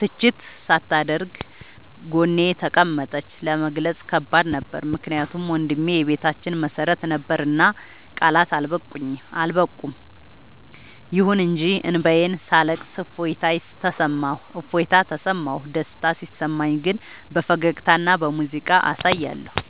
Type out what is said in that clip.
ትችት ሳታደርግ ጎኔ ተቀመጠች። ለመግለጽ ከባድ ነበር ምክንያቱም ወንድሜ የቤታችን መሰረት ነበርና ቃላት አልበቁም። ይሁን እንጂ እንባዬን ሳለቅስ እፎይታ ተሰማሁ። ደስታ ሲሰማኝ ግን በፈገግታና በሙዚቃ አሳያለሁ።